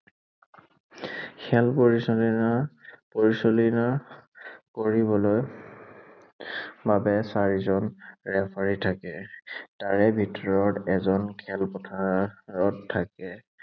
খেল পৰিচালনা, পৰিচালনা কৰিবলৈ বাবে চাৰিজন ৰেফাৰী থাকে। তাৰে ভিতৰত এজন খেলপথাৰত থাকে।